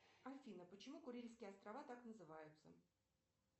афина почему курильские острова так называются